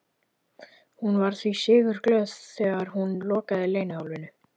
Hún var því sigurglöð þegar hún lokaði leynihólfinu.